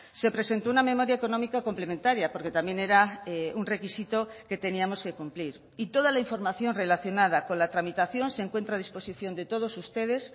se presentó una memoria económica complementaria porque también era un requisito que teníamos que cumplir y toda la información relacionada con la tramitación se encuentra a disposición de todos ustedes